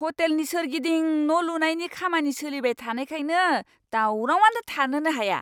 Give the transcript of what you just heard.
हटेलनि सोरगिदिं न'लुनायनि खामानि सोलिबाय थानायखायनो दावरावआनो थानोनो हाया।